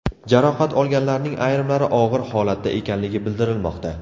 Jarohat olganlarning ayrimlari og‘ir holatda ekanligi bildirilmoqda.